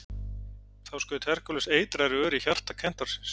Þá skaut Herkúles eitraðri ör í hjarta kentársins.